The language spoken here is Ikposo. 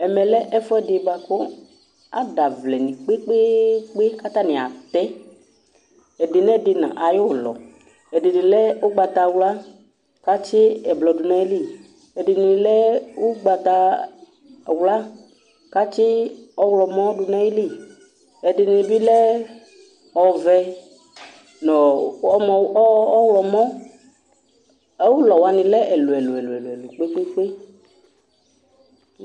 Ɛmɛ lɛ ɛfʋɛdɩ bʋa kʋ ,adavlɛ nɩ kpekpeekpe katanɩ atɛ, ɛdɩ nʋ ɛdɩ nʋ ayʋ lɔ; ɛdɩnɩ lɛ ʊgbatawla katsɩ ɛblɔ dʋ nayili, ɛdɩnɩ lɛ ʊgbatawla katsɩ ɔɣlɔmɔ dʋ nayili, ɛdɩnɩ bɩ lɛ ɔvɛ nɔɔɣlɔmɔ, ʋlɔ wanɩ lɛ ɛlʋɛlʋɛlʋ kpekpekpe